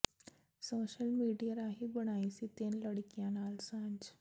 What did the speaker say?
social ਮੀਡੀਏ ਰਾਹੀਂ ਬਣਾਈ ਸੀ ਤਿੰਨ ਲੜਕੀਆਂ ਨਾਲ ਸਾਂਝ